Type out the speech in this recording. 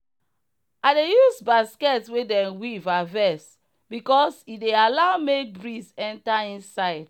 i dey use basket wey dem weave harvest because e dey allow make breeze enter inside.